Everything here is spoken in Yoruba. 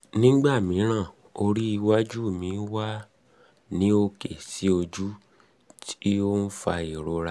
um nígbà mìíràn orí iwájú mi wà um ní òkè sí ojú tí ó ń fa ìrora